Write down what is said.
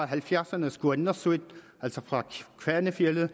halvfjerdserne s kuannnersuit altså fra kvanefjeldet og